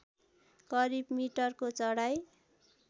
करिब मिटरको चढाइ